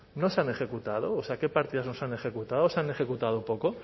no se han ejecutado o sea qué partidas no se han ejecutado o se han ejecutado poco